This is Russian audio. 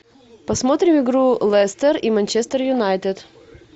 посмотрим игру лестер и манчестер юнайтед